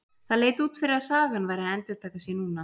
Það leit út fyrir að sagan væri að endurtaka sig núna.